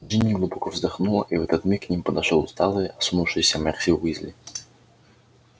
джинни глубоко вздохнула и в этот миг к ним подошёл усталый осунувшийся перси уизли